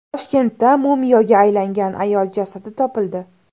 Toshkentda mumiyoga aylangan ayol jasadi topildi.